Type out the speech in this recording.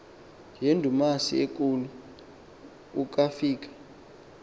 yindumasi enkulu ukafika